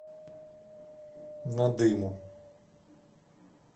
надыму